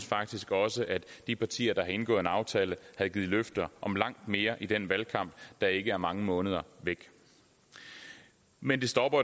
faktisk også at de partier der har indgået en aftale havde givet løfter om langt mere i den valgkamp der ikke er mange måneder væk men det stopper